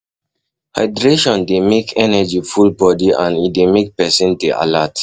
hydration dey make energy full body and e dey make person dey alert